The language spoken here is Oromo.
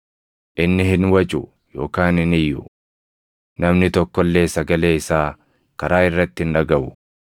Inni hin wacu yookaan hin iyyu; namni tokko illee sagalee isaa karaa irratti hin dhagaʼu.